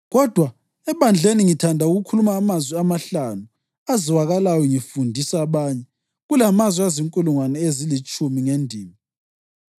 Kodwa ebandleni ngithanda ukukhuluma amazwi amahlanu azwakalayo ngifundisa abanye kulamazwi azinkulungwane ezilitshumi ngendimi.